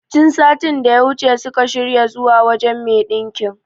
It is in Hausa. Tun satin daya wuce suka shirya zuwa wajen me ɗinkin